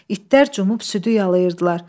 İtlər cumub südü yalayirdilər.